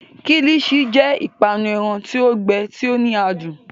Kilichi jẹ iru ipanu ẹran ti o gbẹ, ti o ni adun.